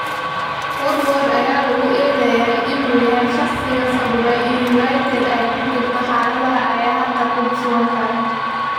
Woodward ayaa lagu eedeeyay inuu yahay shaqsiga sababay in United ay ku jirto xaalada ay hadda ku sugan tahay.